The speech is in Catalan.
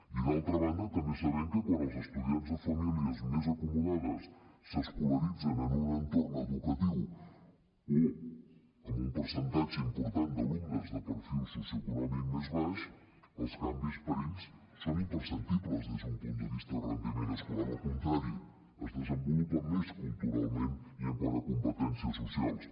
i d’altra banda també sabem que quan els estudiants de famílies més acomodades s’escolaritzen en un entorn educatiu o amb un percentatge important d’alumnes de perfil socioeconòmic més baix els canvis per a ells són imperceptibles des d’un punt de vista de rendiment escolar al contrari es desenvolupen més culturalment i quant a competències socials